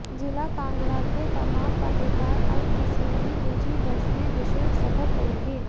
जिला कांगड़ा के तमाम पत्रकार अब किसी भी निजी बस में निशुल्क सफर करेंगें